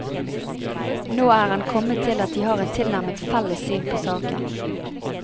Nå er han kommet til at de har et tilnærmet felles syn på saken.